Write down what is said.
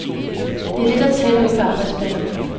Det er det, der tæller ude på arbejdspladserne.